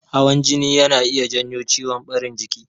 Hawan jini yana iya janyo ciwon ɓarin jiki.